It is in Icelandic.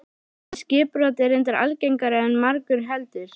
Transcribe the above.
Það skipbrot er reyndar algengara en margur heldur.